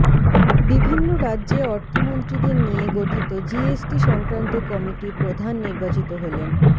বিভিন্ন রাজ্যে অর্থমন্ত্রীদের নিয়ে গঠিত জিএসটি সংক্রান্ত কমিটির প্রধান নির্বাচিত হলেন